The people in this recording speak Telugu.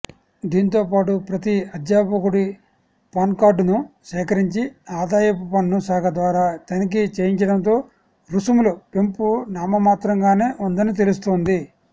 దీంతోపాటు ప్రతి అధ్యాపకుడి పాన్కార్డును సేకరించి ఆదాయపుపన్ను శాఖ ద్వారా తనిఖీ చేయించడంతో రుసుములు పెంపు నామమాత్రంగానే ఉందని తెలుస్తోంది